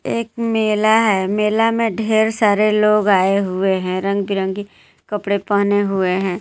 एक मेला है मेला मे ढेर सारे लोग आये हुए हैं रंग बे रंगी कपडे पहने हुए हैं.